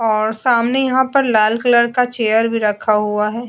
और सामने यहां पर लाल कलर का चेयर भी रखा हुआ है।